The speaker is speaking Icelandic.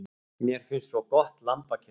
Mér finnst svo gott lambakjöt.